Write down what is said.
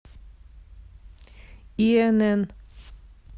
инн